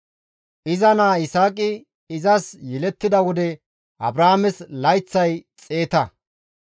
Iza naa Yisaaqi izas yelettida wode Abrahaames layththay xeeta.